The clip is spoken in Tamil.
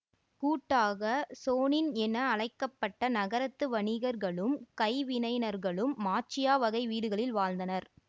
கூட்டாக சோனின் என அழைக்க பட்ட நகரத்து வணிகர்களும் கைவினைஞர்களும் மாச்சியா வகை வீடுகளில் வாழ்ந்தனர்